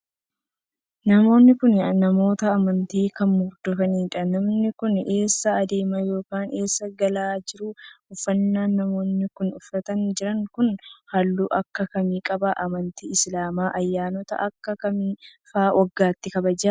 Namoonni kun, namoota amantii kam hordofaniidha? Namoonni kun eessa adeemaa yokin eessaa galaa jiru? Uffannaan namoonni kun uffatanii jiran kun, haalluu akka kamii qaba? Amantiin Islaamaa ayyaanota akka kamii faa waggaatti kabaja?